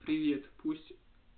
привет пусть